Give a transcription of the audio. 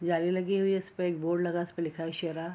जाली लगी हुई है इसपे एक बोर्ड लगा है उसपे लिखा है शेरा।